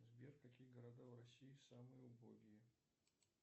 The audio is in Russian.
сбер какие города в россии самые убогие